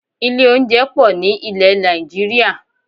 Ilé oúnjẹ pọ̀ ní ilẹ̀ Nàìjíríà